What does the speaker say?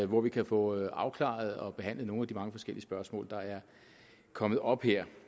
hvor vi kan få afklaret og behandlet nogle af de mange forskellige spørgsmål der er kommet op her